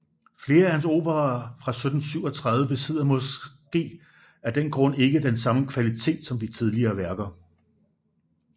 Flere af hans operaer fra 1737 besidder måske af den grund ikke den samme kvalitet som de tidligere værker